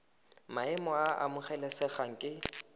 maemo a a amogelesegang ke